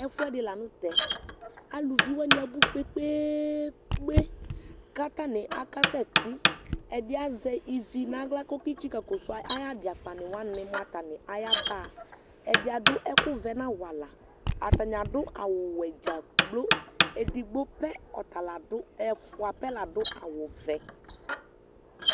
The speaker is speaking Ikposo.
Ɛfʋɛdɩ la nʋ tɛ Alʋvi wanɩ abʋ kpe-kpe-kpe, kʋ atanɩ akasɛtɩ Ɛdɩ azɛ ivi nʋ aɣla kʋ ɔketsikǝ kɔsʋ ud ayʋ adɩ akpanɩ wanɩ mʋ atanɩ ayaba? Ɛdɩ adʋ ɛkʋvɛ nʋ awala Atanɩ adʋ awʋwɛ dza kplo Edigbo pɛ ɔta la dʋ, ɛfʋa pɛ la dʋ awʋvɛ